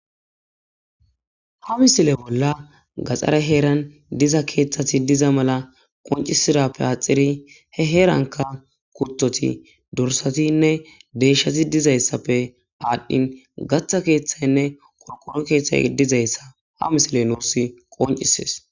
Ha misile bolla gaxxare heeran diza keeththati diza mala qoncisirappe aaxiri he heeranka kurthoti dorsatinne deshati dizayssappe aadhdhin gatha keeththaynne korkoro keeththay dizayssa ha misile nuursi qoncisees